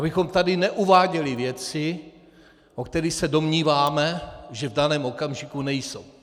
Abychom tady neuváděli věci, o kterých se domníváme, že v daném okamžiku nejsou.